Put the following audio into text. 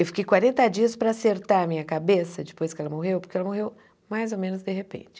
Eu fiquei quarenta dias para acertar a minha cabeça depois que ela morreu, porque ela morreu mais ou menos de repente.